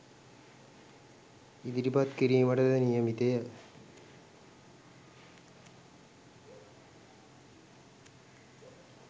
ඉදිරිපත් කිරීමටද නියමිතය